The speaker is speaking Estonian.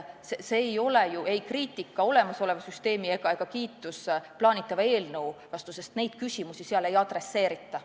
See pole ei olemasoleva süsteemi kriitika ega plaanitava eelnõu kiitmine, sest neid küsimusi seal ei lahata.